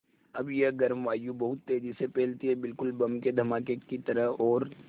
अब यह गर्म वायु बहुत तेज़ी से फैलती है बिल्कुल बम के धमाके की तरह और